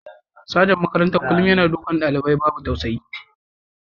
Sajan makarantar kullum yana dukan dalibai babu tausayi.